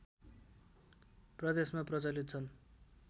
प्रदेशमा प्रचलित छन्